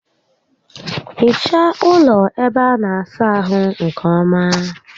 Hichaa ụlọ ébé a na-asa ahụ nkè ọma